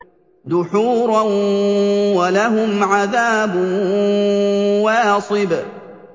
دُحُورًا ۖ وَلَهُمْ عَذَابٌ وَاصِبٌ